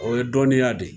O ye dɔnniya de ye